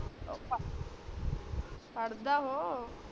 ਪੜਦਾ ਓ